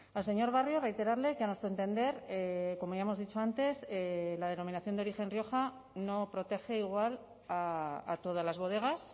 al señor barrio reiterarle que a nuestro entender como ya hemos dicho antes la denominación de origen rioja no protege igual a todas las bodegas